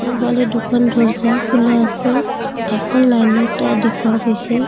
দোফালে দুখন দৰ্জা খোলা আছে এখন লাইনৰ তাঁৰ দেখুওৱা গৈছে।